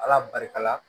Ala barika la